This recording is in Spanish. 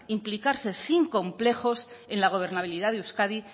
implicarse sin complejos en la gobernabilidad de euskadi